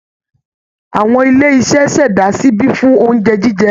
Awọn ilé iṣẹ́ ṣẹ̀dá ṣíbí fún oúnjẹ jíjẹ